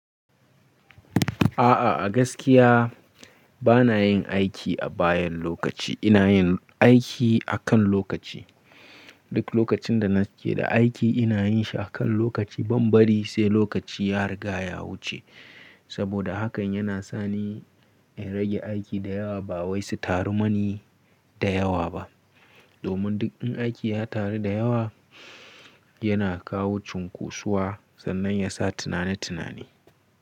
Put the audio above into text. A'a a gaskiya bana yin aiki a bayan lokaci, ina yin aiki akan lokaci. Duk lokacin da nake da aiki ina yin shi akan lokaci. Ban bari sai lokaci ya riga ya wuce. Saboda hakan yana sani in rage aiki da yawa ba wai su taru mani da yawa ba. Domin duk in aiki ya taru da yawa yana kawo cunkosuwa sannan yasa tunani tunani.